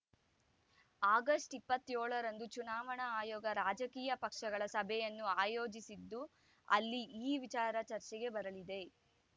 August ಇಪ್ಪತ್ಯೋಳ ರಂದು ಚುನಾವಣಾ ಆಯೋಗ ರಾಜಕೀಯ ಪಕ್ಷಗಳ ಸಭೆಯನ್ನು ಆಯೋಜಿಸಿದ್ದು ಅಲ್ಲಿ ಈ ವಿಚಾರ ಚರ್ಚೆಗೆ ಬರಲಿದೆ